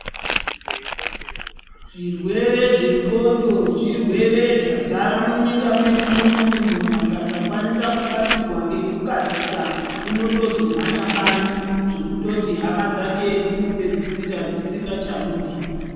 Zvirwere zvendxondo zvirwere zvazara munyika medu munomu, munhu akasakwanisa kubatsirwa ngekukasika unotozo mhanya bani zvekutoti hama dzake dzinopedzisira dzisingachamudi.